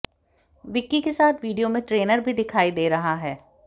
विक्की के साथ वीडियो में ट्रेनर भी दिखाई दे रहा है